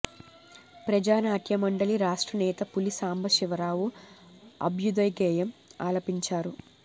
ప్రజా నాట్యమండలి రాష్ట్ర నేత పులి సాంబ శివరావు అభ్యుదయగేయం ఆలపించారు